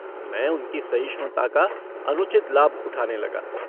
मैं उनकी सहिष्णुता का अनुचित लाभ उठाने लगा।